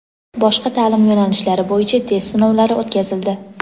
boshqa ta’lim yo‘nalishlari bo‘yicha test sinovlari o‘tkazildi.